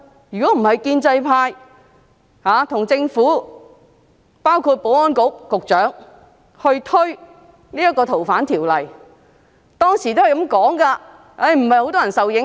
如果不是建制派和政府，包括保安局局長推行《逃犯條例》修訂，香港現在便不會這樣。